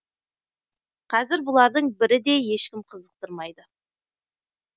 қазір бұлардың бірі де ешкім қызықтырмайды